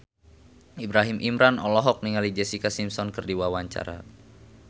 Ibrahim Imran olohok ningali Jessica Simpson keur diwawancara